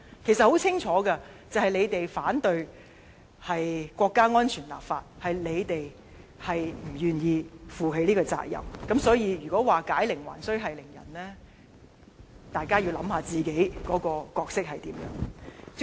其實事情很清楚，就是你們反對國家安全立法在先，是你們不願意負起這個責任，因此，如果指解鈴還需繫鈴人，大家要想想自己的角色。